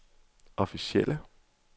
officielle